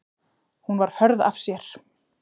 Hún var hörð af sér.